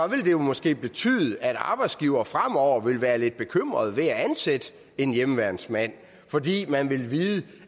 måske betyde at arbejdsgivere fremover ville være lidt bekymrede ved at ansætte en hjemmeværnsfrivillig fordi man vil vide